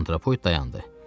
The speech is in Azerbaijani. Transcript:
Antropoid dayandı.